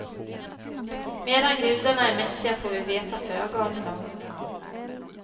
Medan gudarna är mäktiga får vi veta föga om dem.